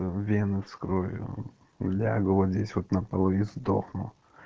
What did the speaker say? ээ вены вскрою лягу вот здесь вот на пол и сдохну